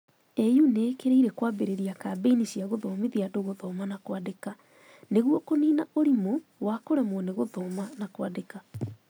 AU nĩ ĩkĩrĩire kwambĩrĩria kambĩini cia gũthomithia andũ gũthoma na kwandĩka nĩguo kũniina ũrimũ wa kũremwo nĩ gũthoma na kwandĩka.